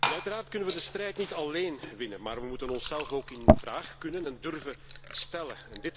Uiteraard kunnen we die strijd niet alleen winnen, maar we moeten onszelf ook in vraag kunnen en durven stellen.